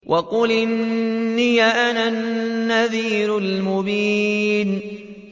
وَقُلْ إِنِّي أَنَا النَّذِيرُ الْمُبِينُ